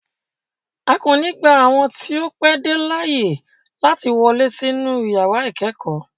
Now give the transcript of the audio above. A ko ni gba awọn ti o pẹ de laaye lati wọle sinu yara ikẹkọ